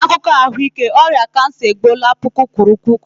N'akụkọ ahụike ahụike, ọrịa kansa egbuola puku kwuru puku.